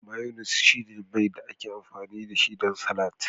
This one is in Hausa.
Mayonnaise shine miya da ake amfani dashi don salatin